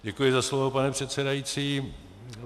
Děkuji za slovo, pane předsedající.